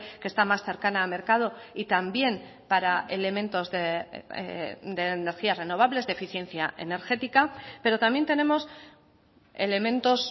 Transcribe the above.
que está más cercana a mercado y también para elementos de energías renovables de eficiencia energética pero también tenemos elementos